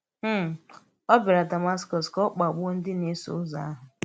um Ó bịàrà Dàmàskọ̀s ka ọ̀ ọ̀ kpagbùò ndí na-èsò uzọ̀ àhụ̀.